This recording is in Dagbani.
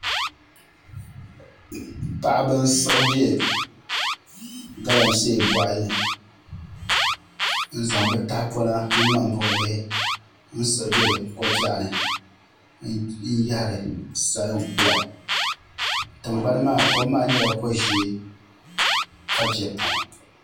Paɣaba n siɣi bɛ galamsee boɣali ni n zaŋ bi tahapona ni ŋmani buɣu bihi n siɣi bɛ ko biɛɣu ni n yahari salin kpula kom maa nyɛla ko ʒiɛ ka biɛ pam